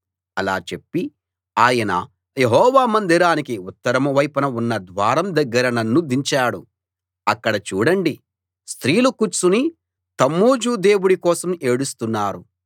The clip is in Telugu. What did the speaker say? ఇలా చెప్పి ఆయన యెహోవా మందిరానికి ఉత్తరం వైపున ఉన్న ద్వారం దగ్గర నన్ను దించాడు అక్కడ చూడండి స్త్రీలు కూర్చుని తమ్మూజు దేవుడి కోసం ఏడుస్తున్నారు